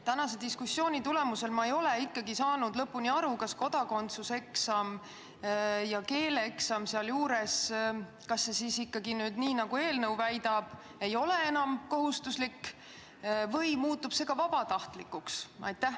Tänase diskussiooni tulemusel ei ole ma ikkagi lõpuni aru saanud, kas kodakondsuseksam ja keeleeksam, nii nagu eelnõu väidab, ei ole enam kohustuslikud või muutuvad ka need vabatahtlikuks?